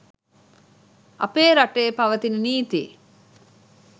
අපේ රටේ පවතින නීති